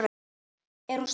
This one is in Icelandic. Er hún stór?